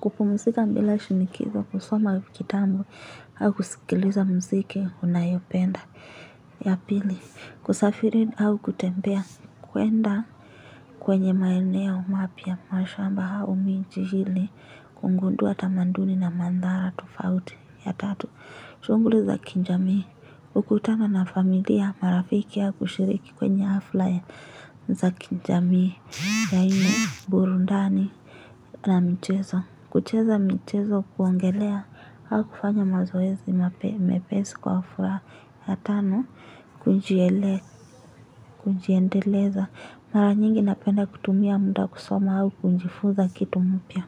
kupumzika mbila shinikizo kusoma kitabu au kusikiliza mziki unayopenda. Ya pili, kusafiri au kutembea, kuenda kwenye maenea mapia, mashamba hau miji ili, kugundua tamaduni na madhara tofauti ya tatu. Shunguli za kijamii, kukutana na familia marafiki ya kushiriki kwenye hafla ya za kijamii kwenye burundani na mchezo. Kucheza michezo wa kuogelea au kufanya mazoezi mepesi kwa furaha ya tano kujieleza, kunjiendeleza, mara nyingi napenda kutumia muda kusoma au kujifuza kitu mpia.